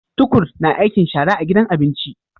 Tukur na aikin shara a gidan abinki